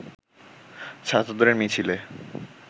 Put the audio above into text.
ছাত্রদের মিছিলে